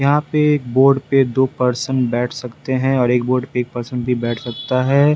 यहां पे बोर्ड पे दो पर्सन बैठ सकते हैं और एक बोर्ड पे एक पर्सन भी बैठ सकता है।